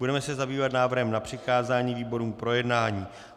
Budeme se zabývat návrhem na přikázání výborům k projednání.